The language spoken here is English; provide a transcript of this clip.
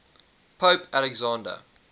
pope alexander